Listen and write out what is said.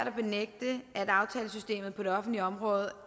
det er at aftalesystemet på det offentlige område